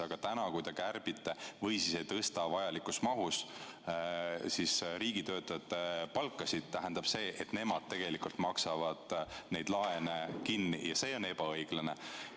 Aga täna, kui te kärbite ega tõsta vajalikus mahus riigitöötajate palkasid, tähendab see seda, et just nemad maksavad need laenud kinni, ja see on ebaõiglane.